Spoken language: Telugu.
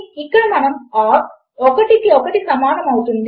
కనుక 1 కంటే 1 ఎక్కువ కాదు కనుక మనకు తప్పు అనే సమాధానము రావాలి